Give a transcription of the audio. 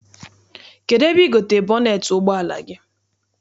Kedụ ebe I gotere bọneet ụgbọala gị?